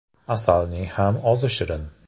Asalning ham ozi shirin.